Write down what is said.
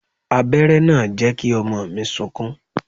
Abéré náà jẹ́ kí ọmọ mi sunkún.